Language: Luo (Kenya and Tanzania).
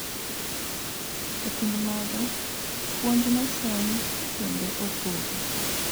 E kind mago, puonj nofuenyi kendo opogi